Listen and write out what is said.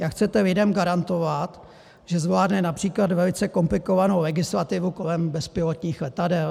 Jak chcete lidem garantovat, že zvládne například velice komplikovanou legislativu kolem bezpilotních letadel?